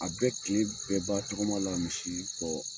A bɛ kile bɛɛ ban tɔgɔma la misi kɔ.